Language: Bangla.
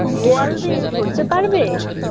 বোয়ালদের ধরতে পারবে